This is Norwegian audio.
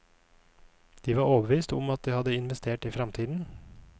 De var overbevist om at de hadde investert i fremtiden.